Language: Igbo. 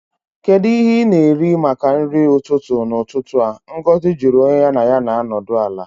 Kedu ihe ị na-eri maka nri ụtụtụ n'ụtụtụ a? Ngozi jụrụ onye ya na ya na-anọdụ ala